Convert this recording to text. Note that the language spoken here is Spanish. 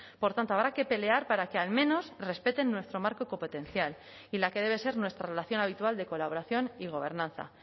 por tanto habrá que pelear para que al menos respeten nuestro marco competencial y la que debe ser nuestra relación habitual de colaboración y gobernanza